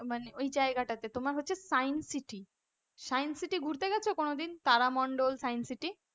মানে ওই জায়গাটাতে তোমার হচ্ছে সানসিটি, সাইনসিটি ঘুরতে গেছো কোনদিন তারামণ্ডল সানসিটি?